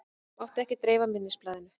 Mátti ekki dreifa minnisblaðinu